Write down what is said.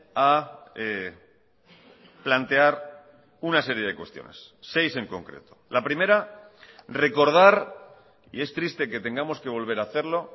a plantear una serie de cuestiones seis en concreto la primera recordar y es triste que tengamos que volver a hacerlo